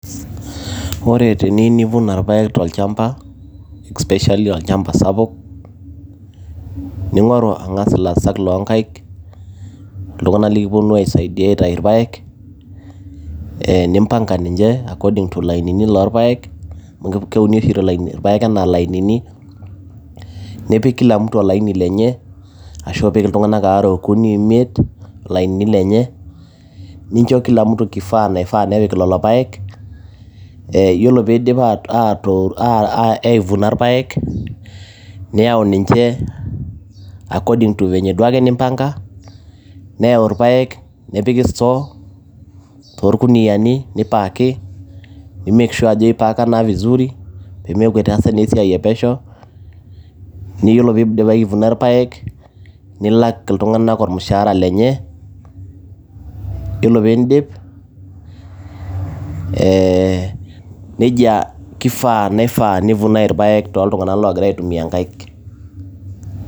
Ore bteniyieu nivuna ilpaek tolchamba especially olchamba sapuk, ningoru ang'as ilaasak loo inkaik , iltunganak nilipuonu aisaidia aitayu ilpaek, nimpanga ninche according o lainini loolpaek , amu keuni oshi ilpaek anaa ilainini, nipik kilamtu olaini lenye ashu ipik iltung'anak aare okuni imiet ilainini lenye, nincho kila mtu kifaa napik ilolo paek. Ore peyie edip aivuna ilpaek, niyau ninche according venye duake nimpanka. Nayau ilpaek nepiki store toolkuniani nei parki nimake sure ajo eipaakaki visuri, meaku etaasa esiai epesho, niyiolo peyie eidipa atalak ilpaek nilak iltunganak olmushahara lenye iyiolo pee idip neija keifaa iltngana oogira aitumia inkaik.